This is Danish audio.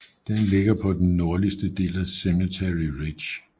Den ligger på den nordligste del af Cemetery Ridge